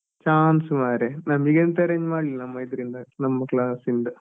Chance ಮಾರೆ ನಮ್ಮ್ಗೆಂತ arrange ಮಾಡ್ಲಿಲ್ಲ ನಮ್ಮ ಇದ್ರಿಂದ ನಮ್ಮ class ಇಂದ.